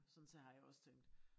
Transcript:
Sådan se har jeg også tænkt